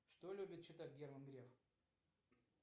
что любит читать герман греф